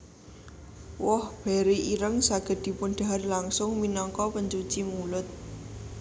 Woh beri ireng saged dipundhahar langsung minangka pencuci mulut